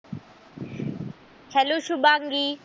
Hello Shubhangi.